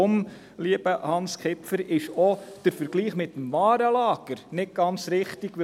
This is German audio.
Und daher, lieber Hans Kipfer, ist auch der Vergleich mit dem Warenlager nicht ganz richtig.